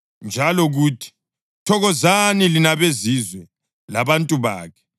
Njalo, kuthi, “Thokozani, lina beZizwe, labantu bakhe.” + 15.10 UDutheronomi 32.43